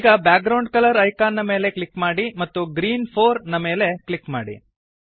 ಈಗ background colour icon ನ ಮೇಲೆ ಕ್ಲಿಕ್ ಮಾಡಿ ಮತ್ತು ಗ್ರೀನ್ 4 ನ ಮೇಲೆ ಕ್ಲಿಕ್ ಮಾಡಿ